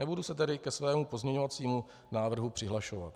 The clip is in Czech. Nebudu se tedy ke svému pozměňovacímu návrhu přihlašovat.